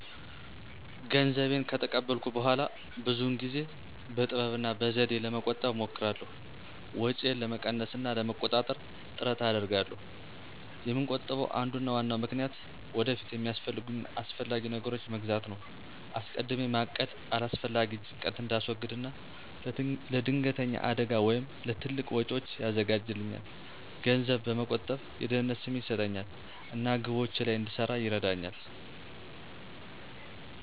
ገንዘቤን ከተቀበልኩ በኋላ ብዙውን ጊዜ በጥበብ እና በዘዴ ለመቆጠብ እሞክራለሁ። ወጪዬን ለመቀነስ እና ለመቆጣጠር ጥረት አደርጋለሁ። የምቆጥብበ አንዱና ዋናው ምክንያት ወደፊት የሚያስፈልጉኝን አስፈላጊ ነገሮች መግዛት ነው። አስቀድሜ ማቀድ አላስፈላጊ ጭንቀትን እንዳስወግድ እና ለድንገተኛ አደጋ ወይም ለትልቅ ወጪዎች ያዘጋጃልኛል። ገንዘብ መቆጠብ የደህንነት ስሜት ይሰጠኛል እና ግቦቼ ላይ እንድሰራ ይረዳኛል።